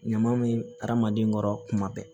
Ɲama be aramaden kɔrɔ kuma bɛɛ